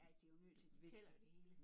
Ja de jo nødt til de tæller jo det hele